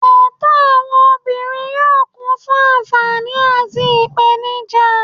Ẹ̀tọ́ àwọn obìnrin yóò kún fún àǹfààní àti ìpèníjà.